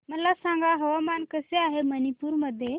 मला सांगा हवामान कसे आहे मणिपूर मध्ये